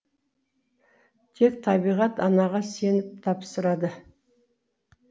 тек табиғат анаға сеніп тапсырады